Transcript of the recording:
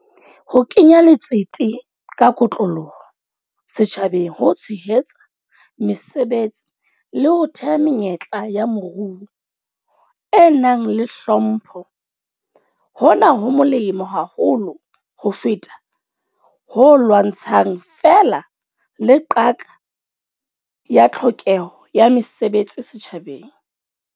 Ho kenya letsete ka kotloloho setjhabeng ho tshehetsa mesebetsi le ho theha menyetla ya moruo e nang le hlompho hona ho molemo haholo ho feta ho lwantshang feela le qaka ya tlhokeho ya mesebetsi setjhabeng.